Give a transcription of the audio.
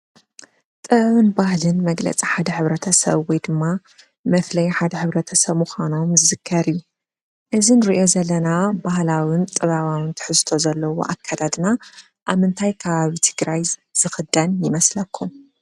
ጥበብን ባህሊን መግለፂ ሓደ ሕብረተሰብ ወይ ድማ መድለይ ሓደ ሕብረተሰብ ምካኑ ይምስከር እዩ። እዚ እንሪኦ ዘለና ባህላዊን ጥበባዊን ትሕዝቶ ዘለዎ ኣከዳድና ኣብ ምንታይ ከባቢ ትግራይ ዝኽደን ይመስለኩም።